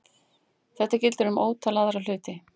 Þetta gildir um ótal aðra hluti.